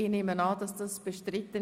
Ich nehme an, dies sei bestritten.